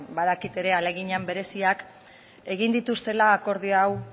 badakit ere ahalegin bereziak egin dituztela akordio hau